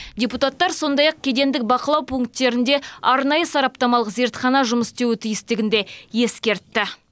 депутаттар сондай ақ кедендік бақылау пунктерінде арнайы сараптамалық зертхана жұмыс істеуі тиістігін де ескертті